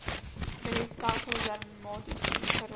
skeletstelsel dermatitis geraas